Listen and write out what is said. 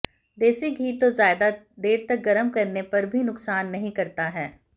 देसी घी तो ज्यादा देर तक गरम करने पर भी नुकसान नहीं करता है